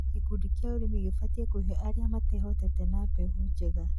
Gĩkundi kĩa ũrĩmi gĩbatiĩ kuhe arĩa matehotete na mbegũ njega